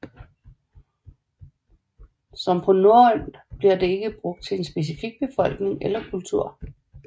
Som på norrønt bliver det ikke brugt til en specifik befolkning eller kultur